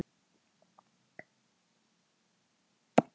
Selfyssingar munu fyrir helgi fá tvo erlenda leikmenn á reynslu.